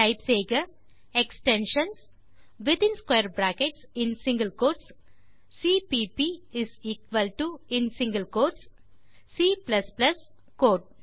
type செய்க extensions within square brackets மற்றும் single quotes CPP is equal to in single quotes C then code